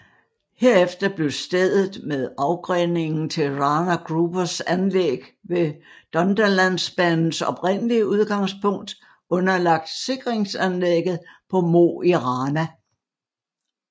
Herefter blev stedet med afgreningen til Rana Grubers anlæg ved Dunderlandsbanens oprindelige udgangspunkt underlagt sikringsanlægget på Mo i Rana